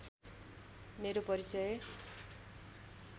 मेरो परिचय